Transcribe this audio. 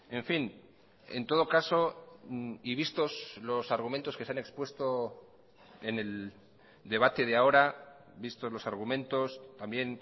en fin en todo caso y vistos los argumentos que se han expuesto en el debate de ahora vistos los argumentos también